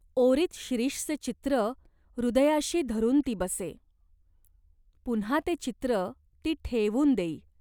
ओरीत शिरीषचे चित्र हृदयाशी धरून ती बसे. पुन्हा ते चित्र ती ठेवून देई.